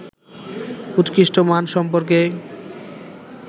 উৎকৃষ্ট মান সম্পর্কে